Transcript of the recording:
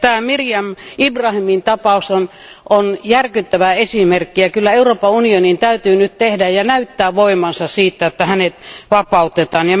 Meriam Ibrahimin tapaus on järkyttävä esimerkki, kyllä Euroopan unionin täytyy nyt tehdä ja näyttää voimansa siitä, että hänet vapautetaan.